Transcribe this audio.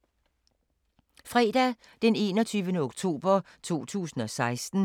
Fredag d. 21. oktober 2016